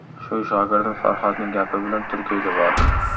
Shu shogirdim Farhodning gapi bilan Turkiyaga bordim.